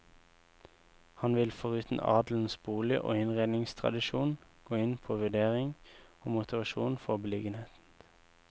Han vil foruten adelens bolig og innredningstradisjon, gå inn på vurdering og motivasjon for beliggenhet.